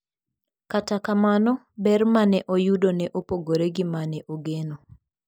Kata kamano, ber ma ne oyudo ne opogore gi ma ne ogeno.